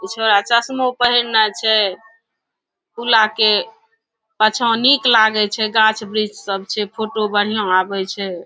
उ छोरा चश्मों पहनना छै पूला के पछा निक लागे छै गाछ-वृक्ष सब छै फोटो बढ़िया आवे छै।